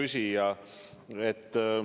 Hea küsija!